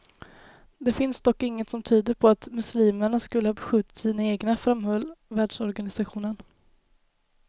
Det finns dock inget som tyder på att muslimerna skulle ha beskjutit sina egna, framhöll världsorganisationen.